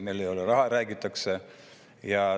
Meil ei ole raha, räägitakse.